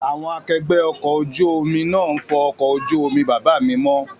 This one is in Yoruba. Àwọn akẹgbẹ́ ọkọ̀ ojú náà ń fọ ọkọ̀ ojú omi bàbá mi mọ́